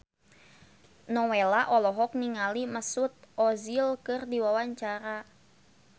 Nowela olohok ningali Mesut Ozil keur diwawancara